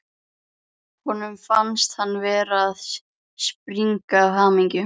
Honum fannst hann vera að springa af hamingju.